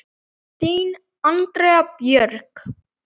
Þín, Andrea Björg.